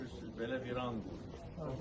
Bax görürsüz, belə viran qoyulub.